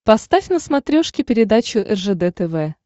поставь на смотрешке передачу ржд тв